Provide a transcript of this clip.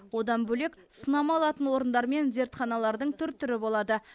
одан бөлек сынама алатын орындар мен зертханалардың түр түрі болады